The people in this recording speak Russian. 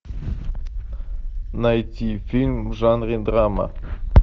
найти фильм в жанре драма